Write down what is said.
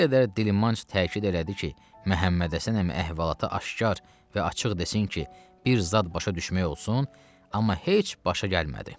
Nə qədər dilmanc təkid elədi ki, Məhəmmədhəsən əmi əhvalatı aşkar və açıq desin ki, bir zad başa düşmək olsun, amma heç başa gəlmədi.